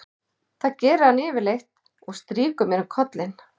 Það gerir hann yfirleitt og strýkur mér um kollinn.